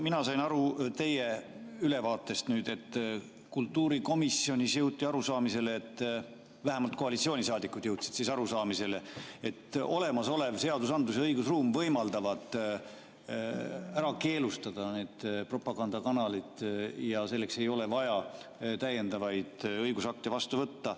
Mina sain teie ülevaatest aru nii, et kultuurikomisjonis jõuti arusaamisele, vähemalt koalitsioonisaadikud jõudsid arusaamisele, et olemasolev seadusandlus ja õigusruum võimaldavad keelustada propagandakanalid ja selleks ei ole vaja täiendavaid õigusakte vastu võtta.